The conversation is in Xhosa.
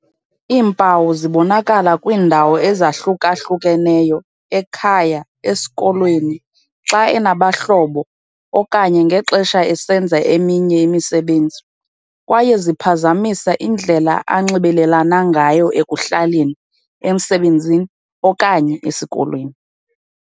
"Iimpawu zibonakala kwiindawo ezahluka-hlukeneyo - ekhaya, esikolweni, xa enabahlobo okanye ngexesha esenza eminye imisebenzi - kwaye ziphazamisa indlela anxibelelana ngayo ekuhlaleni, emsebenzini okanye esikolweni."